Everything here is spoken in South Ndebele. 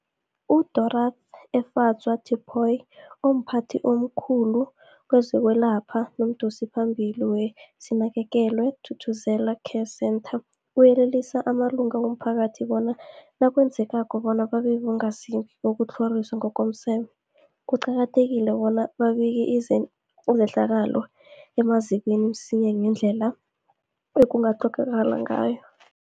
UDorh Efadzwa Tipoy, omphathi omkhulu kezokwelapha nomdosiphambili weSinakekelwe Thuthuzela Care Centre, uyelelise amalunga womphakathi bona nakwenzekako bona babe bongazimbi bokutlhoriswa ngokomseme, kuqakathekile bona babike izehlakalo emazikweni msinyana ngendlela ekungakghonakala ngayo.